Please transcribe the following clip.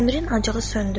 Əmirin acığı söndü.